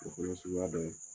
O fana ye suguya dɔye.